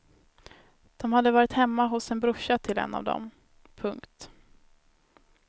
De hade varit hemma hos en brorsa till en av dem. punkt